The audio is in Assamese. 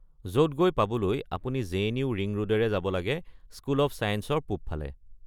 য’ত গৈ পাবলৈ আপুনি জে.এন.ইউ. ৰিং ৰোডেৰে যাব লাগে, স্কুল অৱ লাইফ ছায়েঞ্চৰ পূবফালে।